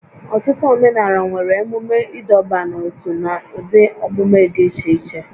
Ọtụtụ omenala nwere emume ịdọba n'ótú na ụdị omume dị iche iche